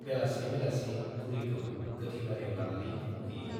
बेलासि बेलासि बुरिखौ गोथैबारियाव लानानै फबहैयो।